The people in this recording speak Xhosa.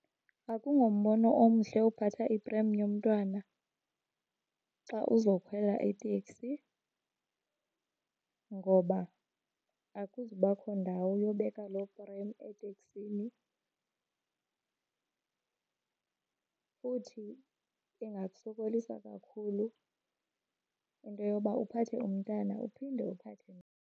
Akungombono omhle uphatha iprem yomntwana xa uzokhwela iteksi ngoba akuzubakho ndawo yobeka loo prem eteksini. Futhi ingakusokolisa kakhulu into yoba uphathe umntana uphinde uphathe .